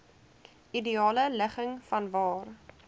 ideale ligging vanwaar